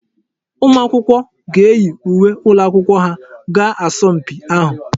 Ụmụ akwụkwọ ga eyi uwe ụlọakwụkwọ ha gaa asọmpi ahụ.